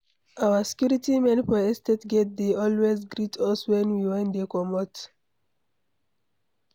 Our security men for estate gate dey always greet us wen we dey comot.